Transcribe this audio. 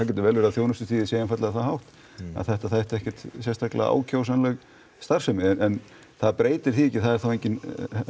getur vel verið að þjónustustigið sé það hátt að þetta þætti ekkert sérstaklega ákjósanleg starfsemi en það breytir því ekki að það er þá engin